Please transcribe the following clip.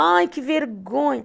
Ai, que vergonha.